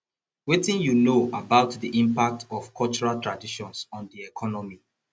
wetin you know about di impact of cultural traditions on di economy